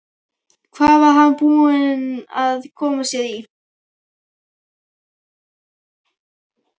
Hvað var hann búinn að koma sér í?